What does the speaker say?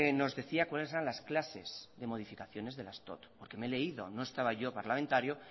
nos decía cuales eran las clases de modificaciones de las dot no estaba yo de parlamentario